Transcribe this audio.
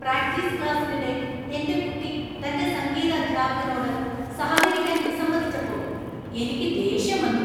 Practice ക്ലാസ്സിനിടെ എൻ്റെ കുട്ടി തൻ്റെ സംഗീത അദ്ധ്യാപകനോട് സഹകരിക്കാൻ വിസമ്മതിച്ചപ്പോൾ എനിക്ക് ദേഷ്യം വന്നു.